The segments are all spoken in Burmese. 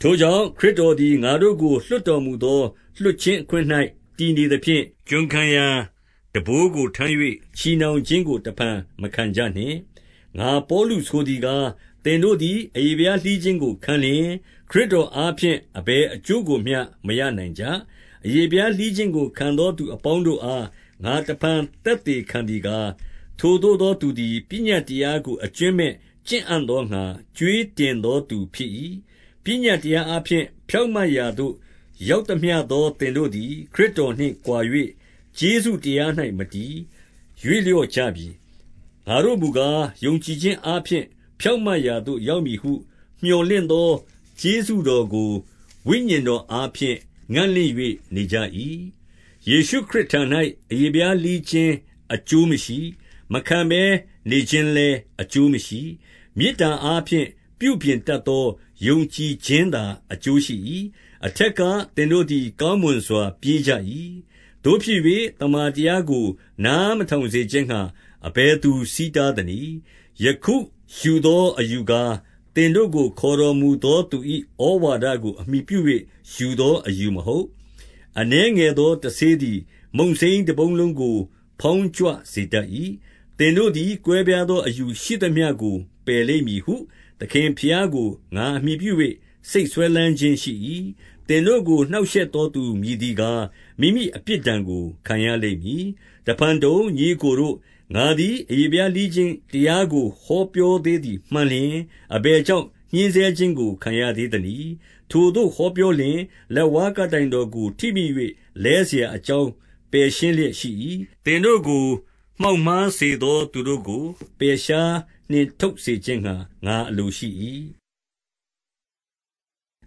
ထိုကြောင့် ခရစ်တော်သည် ငါတို့ကို လွှတ်တော်မူသော လွှတ်ခြင်းအခွင့်၌တည်နေသဖြင့်၊ ကျွန်ခံရာ ထမ်းဘိုးကိုထမ်း၍ ချည်နှောင်ခြင်းကို တဖန်မခံကြနှင့်။ 2 ငါပေါလုဆိုသည်ကား၊ သင်တို့သည် အရေဖျားလှီးခြင်းကိုခံလျှင်၊ ခရစ်တော်အားဖြင့် အဘယ်အကျိုး ကိုမျှမရနိုင်ကြ။ 3 အရေဖျားလှီးခြင်းကို ခံသောလူအပေါင်းတို့အား ငါတဖန်သက်သေခံသည်ကား၊ ထိုသို့သောသူသည် ပညတ်တရားကို အကြွင်းမဲ့ကျင့်အံ့သောငှါ ကြွေးတင်သောသူဖြစ်၏။ 4 ပညတ်တရားအားဖြင့် ဖြောင့်မတ်ရာသို့ ရောက်သမျှသော သင်တို့သည် ခရစ်တော်နှင့်ကွာ၍ ကျေးဇူး တရား၌မတည်၊ ရွေ့လျော့ကြပြီ။ 5 ငါတို့မူကား၊ ယုံကြည်ခြင်းအားဖြင့် ဖြောင့်မတ်ရာသို့ရောက်မည်ဟု မြော်လင့်သောကျေးဇူးတော်ကို ဝိညာဉ်တော်အားဖြင့် ငံ့လင့်၍နေကြ၏။ 6 ယေရှုခရစ်တော်၌ အရေဖျားလှီးခြင်း အကျိုးမရှိ၊ မခံဘဲနေခြင်းလည်းအကျိုးမရှိ။ မေတ္တာအားဖြင့် ပြုပြင်တတ်သော ယုံကြည်ခြင်းသာ အကျိုးရှိ၏။ 7 အထက်ကသင်တို့သည် ကောင်းမွန်စွာ ပြေးကြ၏။ သို့ဖြစ်၍ သမ္မာတရားကို နားမထောင်စေခြင်းငှါ အဘယ်သူဆီးတားသနည်း။ 8 ယခုယူသောအယူကား၊ သင်တို့ကို ခေါ်တော်မူသော သူ၏ဩဝါဒကိုအမှီပြု၍ ယူသောအယူမဟုတ်။ 9 အနည်းငယ်သောတဆေးသည် မုန့်စိမ်းတပုံလုံးကို ဖေါင်းကြွစေတတ်၏။ 10 သင်တို့သည် ကွဲပြားသောအယူရှိသမျှကို ပယ်လိမ့်မည်ဟု သခင်ဘုရားကို ငါအမှီပြု၍ စိတ်စွဲလမ်းခြင်းရှိ၏။ သင်တို့ကို နှောက်ယှက်သော သူမည်သည်ကား၊ မိမိ အပြစ်ဒဏ်ကိုခံရလိမ့်မည်။ 11 တဖန်တုံ၊ ညီအစ်ကိုတို့၊ ငါသည် အရေဖျားလှီးခြင်းတရားကို ဟောပြောသေးသည်မှန်လျှင်၊ အဘယ် ကြောင့်ညှဉ်းဆဲခြင်းကို ခံရသေးသနည်း။ ထိုသို့ပြောလျှင်၊ လက်ဝါးကပ်တိုင်တော်ကို ထိမိ၍လဲစရာအကြောင်း ပယ်ရှင်းလျက်ရှိ၏။ 12 သင်တို့ကို မှောက်မှားစေသောသူတို့ကို ပယ်ရှားနှင်ထုတ်စေခြင်းငှါ ငါအလိုရှိ၏။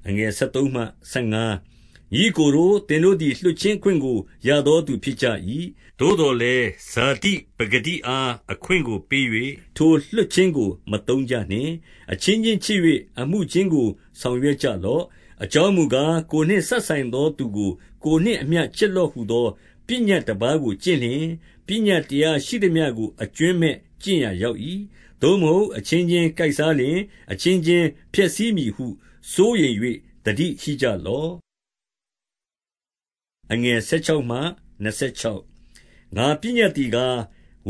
13 ညီအစ်ကိုတို့၊ သင်တို့သည်လွှတ်ခြင်းအခွင့်ကို ရသောသူဖြစ်ကြ၏။ သို့သော်လည်း ဇာတိပကတိအား အခွင့်ကိုပေး၍၊ ထိုလွှတ်ခြင်းကို မသုံးကြနှင့်။ အချင်းချင်းချစ်၍ အမှုချင်းကို ဆောင်ရွက်ကြလော့။ 14 အကြောင်းမူကား၊ ကိုယ်နှင့်စပ်ဆိုင်သောသူကို ကိုယ်နှင့်အမျှ ချစ်လော့ဟူသော ပညတ်တပါးကို ကျင့် လျှင်၊ ပညတ်တရားရှိသမျှကို အကြွင်းမဲ့ကျင့်ရာ ရောက်၏။ 15 သို့မဟုတ်အချင်းချင်းကိုက်စားလျှင် အချင်းချင်း ဖျက်ဆီးမည်ဟု စိုးရိမ်၍သတိရှိကြလော့။ 16 ငါပညတ်သည်ကား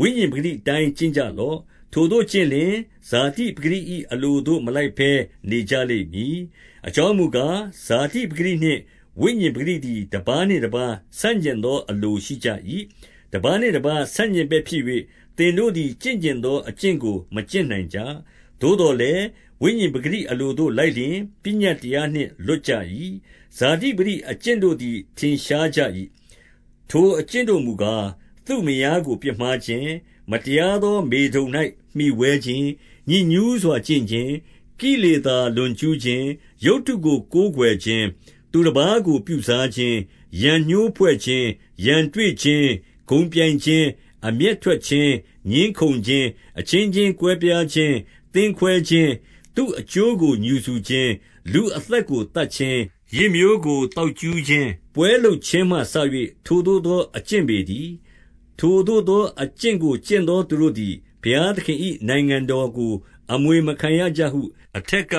၊ ဝိညာဉ်ပကတိအတိုင်း ကျင့်ကြလော့။ ထိုသို့ကျင့်လျှင် ဇာတိပကတိ၏အလိုသို့ မလိုက်ဘဲနေကြလိမ့်မည်။ 17 အကြောင်းမူကား၊ ဇာတိပကတိနှင့် ဝိညာဉ် ပကတိသည် တပါးနှင့်တပါးဆန့်ကျင်သော အလိုရှိကြ၏။ တပါးနှင့်တပါး ဆန့်ကျင်ဘက်ဖြစ်၍၊ သင်တို့သည် ကျင့်ချင်သော အကျင့်ကို မကျင့်နိုင်ကြ။ 18 သို့သော် ဝိညာဉ်ပကတိအလိုသို့ လိုက်လျှင် ပညတ်တရားနှင့် လွတ်ကြ၏။ 19 ဇာတိပကတိအကျင့်တို့သည်ထင်ရှားကြ၏။ ထိုအကျင့်တို့ မူကား၊ သူ့မယားကိုပြစ်မှားခြင်း၊ မတရား သောမေထုန်၌မှီဝဲခြင်း၊ ညစ်ညူးစွာကျင့်ခြင်း၊ ကိလေသာ လွန်ကျူးခြင်း၊ 20 ရုပ်တုကိုကိုးကွယ်ခြင်း၊ သူတပါးကိုပြုစားခြင်း၊ ရန်ငြိုးဖွဲ့ခြင်း၊ ရန်တွေ့ခြင်း၊ ဂုဏ်ပြိုင်ခြင်း၊ အမျက်ထွက်ခြင်း၊ ငြင်းခုန်ခြင်း၊ အချင်းချင်း ကွဲပြားခြင်း၊ သင်းခွဲခြင်း၊ 21 သူ့အကျိုးကိုငြူစူခြင်း၊ လူအသက်ကိုသတ်ခြင်း၊ ယစ်မျိုးကို သောက်ကြူးခြင်း၊ ပွဲလုပ်ခြင်းမှစ၍ ထိုသို့သော အကျင့်ပေတည်း။ ထိုသို့သော အကျင့်ကို ကျင့်သောသူတို့သည် ဘုရားသခင်၏နိုင်ငံတော်ကို အမွေ မခံကြရဟု အထက်က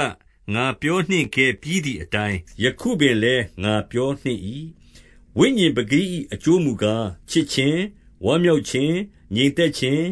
ငါပြောနှင့်ခဲ့ပြီးသည်အတိုင်း ယခုပင်လည်း ငါပြောနှင့်၏။ 22 ဝိညာဉ်ပကတိ၏အကျိုးမူကား၊ ချစ်ခြင်း၊ ဝမ်းမြောက်ခြင်း၊ ငြိမ်သက်ခြင်း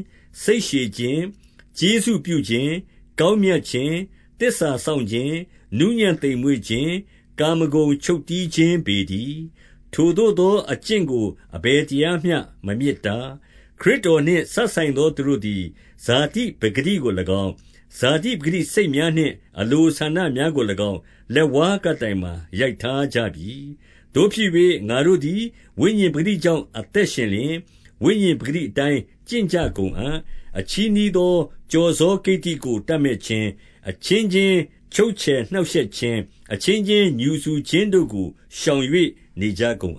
၊ စိတ်ရှည်ခြင်း၊ ကျေးဇူး ပြုခြင်း၊ ကောင်းမြတ်ခြင်း၊ သစ္စာစောင့်ခြင်း၊ 23 နူးညံ့သိမ်မွေ့ခြင်း၊ ကာမဂုဏ်ချုပ်တည်းခြင်းပေတည်း။ ထိုသို့သောအကျင့်ကို အဘယ်တရားမျှ မမြစ်တား။ 24 ခရစ်တော်နှင့်စပ်ဆိုင်သောသူတို့သည် ဇာတိပကတိကို၎င်း၊ ဇာတိပကတိစိတ်များနှင့် အလိုဆန္ဒများ ကို၎င်း၊ လက်ဝါးကပ်တိုင်မှာ ရိုက်ထားကြပြီ။ 25 သို့ဖြစ်၍ ငါတို့သည်ဝိညာဉ်ပကတိကြောင့် အသက်ရှင်လျှင်၊ ဝိညာဉ်ပကတိအတိုင်းကျင့်ကြကုန်အံ့။ 26 အချည်းနှီးသော ကျော်စောကိတ္တိကို တပ်မက်ခြင်း၊ အချင်းချင်းချုပ်ချယ်နှောင့်ရှက်ခြင်း၊ အချင်းချင်း ငြူစူခြင်းတို့ကို ရှောင်၍နေကြကုန်